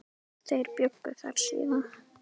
Þeir bjuggu þar síðan.